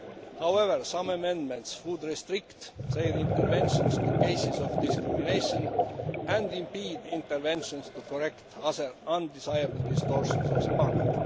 However, some amendments would restrict their interventions to cases of discrimination and impede interventions to correct other undesirable distortions of the market.